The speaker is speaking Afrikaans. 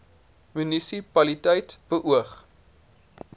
munisi paliteit beoog